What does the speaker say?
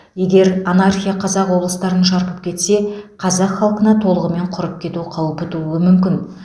егер анархия қазақ облыстарын шарпып кетсе қазақ халқына толығымен құрып кету қаупі тууы мүмкін